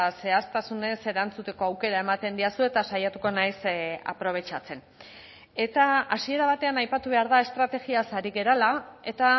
zehaztasunez erantzuteko aukera ematen didazu eta saiatuko naiz aprobetxatzen eta hasiera batean aipatu behar da estrategiaz ari garela eta